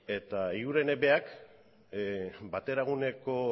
eta eguigurenek berak bateraguneko